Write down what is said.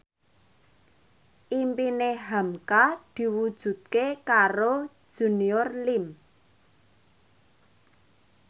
impine hamka diwujudke karo Junior Liem